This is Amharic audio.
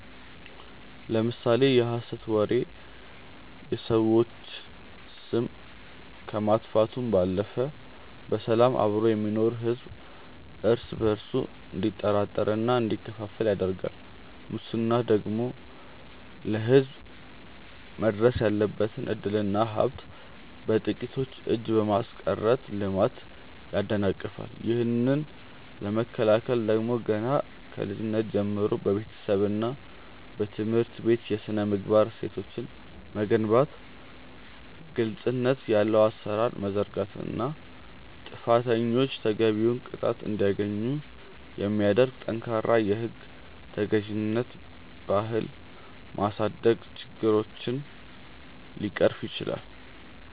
ለምሳሌ የሐሰት ወሬ የሰዎችን ስም ከማጥፋቱም ባለፈ በሰላም አብሮ የሚኖረውን ሕዝብ እርስ በእርሱ እንዲጠራጠርና እንዲከፋፈል ያደርጋል ሙስና ደግሞ ለሕዝብ መድረስ ያለበትን ዕድልና ሀብት በጥቂቶች እጅ በማስቀረት ልማትን ያደናቅፋል። ይህንን ለመከላከል ደግሞ ገና ከልጅነት ጀምሮ በቤተሰብና በትምህርት ቤት የሥነ-ምግባር እሴቶችን መገንባት ግልጽነት ያለው አሠራር መዘርጋትና ጥፋተኞች ተገቢውን ቅጣት እንዲያገኙ የሚያደርግ ጠንካራ የሕግ ተገዥነት ባህል ማሳደግ ችግሮችን ሊቀርፍ ይችላል።